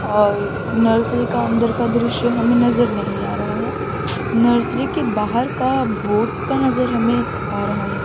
और नर्सरी का अंदर का दृश्य हमें नजर नहीं आ रहा है नर्सरी के बाहर का बोर्ड का नजर हमें आ रहा है।